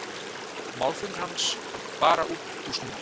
Málflutningur hans var bara útúrsnúningur.